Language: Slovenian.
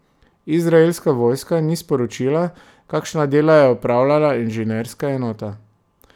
Izraelska vojska ni sporočila, kakšna dela je opravljala inženirska enota.